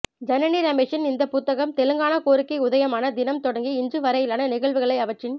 ஜனனி ரமேஷின் இந்தப் புத்தகம் தெலங்கானா கோரிக்கை உதயமான தினம் தொடங்கி இன்று வரையிலான நிகழ்வுகளை அவற்றின்